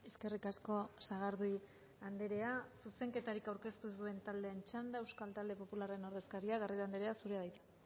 eskerrik asko sagardui andrea zuzenketarik aurkeztu ez duen taldearen txanda euskal talde popularraren ordezkaria garrido andrea zurea da hitza